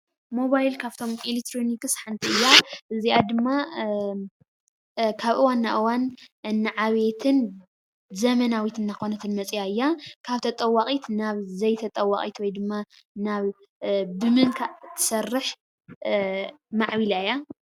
ሞባይል ካብ ኤክትሮኒክስ ሓንቲ እያ፡፡ እዚኣ ድማ ካብ እዋን ናብ እዋን እናዓበየትን ዘመናዊትን እናኾነትን መፂኣ እያ፡፡ ካብ ተጠዋቒት ናብ ዘይተጠዋቒት ወይ ድማ ናብ ብምንካእ ትሰርሕ ማዕቢላ እያ፡፡